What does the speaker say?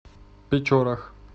печорах